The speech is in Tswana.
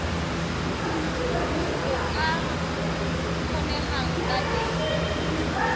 go ka kgonegang ka teng